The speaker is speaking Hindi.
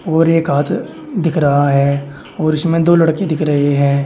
और एक हाथ दिख रहा है और इसमें दो लड़की दिख रहे हैं।